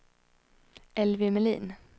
Elvy Melin